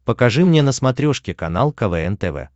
покажи мне на смотрешке канал квн тв